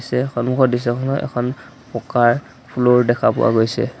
ইয়াতে সন্মুখৰ দৃশ্যখনত এখন পকাৰ ফ্লু'ৰ দেখা পোৱা গৈছে।